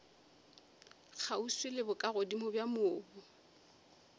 kgauswi le bokagodimo bja mobu